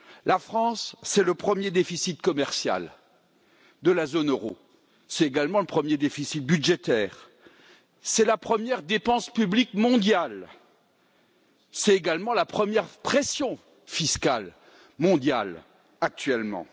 La France, c'est le premier déficit commercial de la zone euro, c'est également le premier déficit budgétaire, c'est la première dépense publique mondiale, c'est également la première pression fiscale mondiale actuellement.